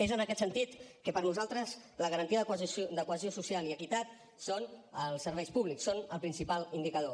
és en aquest sentit que per nosaltres la garantia de cohesió social i equitat són els serveis públics en són el principal indicador